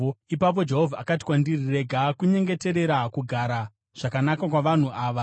Ipapo Jehovha akati kwandiri, “Rega kunyengeterera kugara zvakanaka kwavanhu ava.